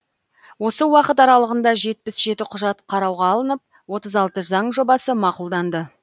осы уақыт аралығында жетпіс жеті құжат қарауға алынып отыз алты заң жобасы мақұлданды